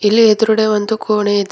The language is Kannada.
ಇಲ್ಲಿ ಎದ್ರುಡೆ ಒಂದು ಕೋಣೆ ಇದೆ.